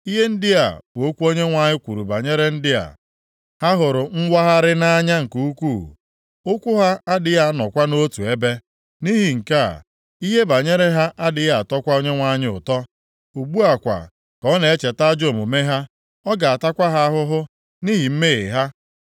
Ihe ndị a bụ okwu Onyenwe anyị kwuru banyere ndị a, “Ha hụrụ mwagharị nʼanya nke ukwuu. Ụkwụ ha adịghị anọkwa nʼotu ebe. Nʼihi nke a, ihe banyere ha adịghị atọkwa Onyenwe anyị ụtọ. Ugbu a kwa ka ọ na-echeta ajọ omume ha, ọ ga-atakwa ha ahụhụ nʼihi mmehie ha.”